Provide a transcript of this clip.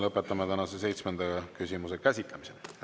Lõpetame tänase seitsmenda küsimuse käsitlemise.